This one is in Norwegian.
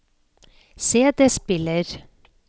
CD-spiller